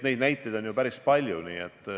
Neid näiteid on päris palju.